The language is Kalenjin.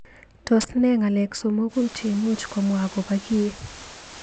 Tos ne ng'alek somoku cheimuch komwa akobo kii.